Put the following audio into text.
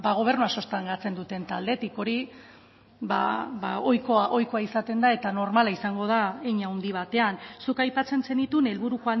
gobernua sustengatzen duten taldetik hori ohikoa izaten da eta normala izango da hein handi batean zuk aipatzen zenituen helburu